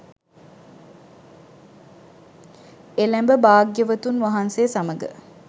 එළැඹ භාග්‍යවතුන් වහන්සේ සමඟ